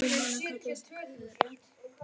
Rúm hennar kallast Kör.